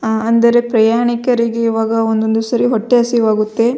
ಆ ಅಂದರೆ ಪ್ರಯಾಣಿಕರಿಗೆ ಇವಾಗ ಒಂದೊಂದು ಸಾರಿ ಹೊಟ್ಟೆ ಹಸಿವಾಗುತ್ತೆ.